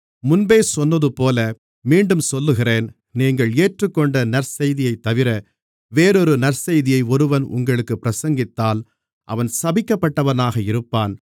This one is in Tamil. முன்பே சொன்னதுபோல மீண்டும் சொல்லுகிறேன் நீங்கள் ஏற்றுக்கொண்ட நற்செய்தியைத்தவிர வேறொரு நற்செய்தியை ஒருவன் உங்களுக்குப் பிரசங்கித்தால் அவன் சபிக்கப்பட்டவனாக இருப்பான்